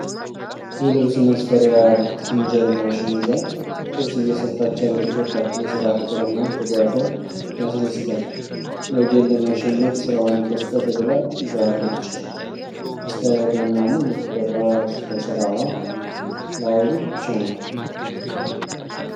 የልብስ መስፊያ ሲንጀር ማሽን ይዛ ልብስ እየሰፋች ያለች ወጣት የስራ ፍቅሯ እና ትጋቷ ያስደስታል። ነገን ለማሸነፍ ስራዋን ኮስተር ብላ ይዛዋለች። አስተያየቷ እና ሙሉ ትኩረቷ ሰስራዋ ላይ ብቻ ነዉ።